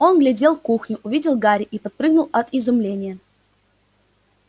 он глядел кухню увидел гарри и подпрыгнул от изумления